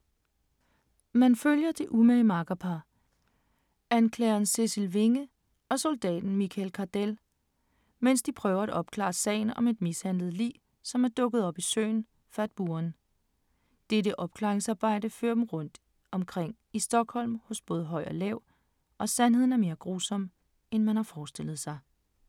Man følger det umage makkerpar, anklageren Cecil Winge og Soldaten Mickel Cardell, mens de prøver at opklare sagen om et mishandlet lig, som er dukket op i søen Fatburen. Dette opklaringsarbejde fører dem rundt omkring i Stockholm hos både høj og lav, og sandheden er mere grusom, end man har forestillet sig.